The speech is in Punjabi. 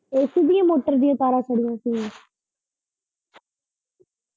AC ਦੀਆਂ ਮੋਟਰ ਦੀਆਂ ਤਾਰਾਂ ਸੀਗੀਆ।